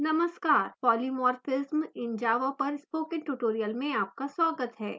नमस्कार polymorphism in java पर spoken tutorial पर आपका स्वागत है